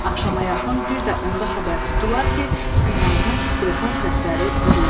Axşama yaxın bir də onda xəbər tutdular ki, binanı telefon səsləri bürüyüb.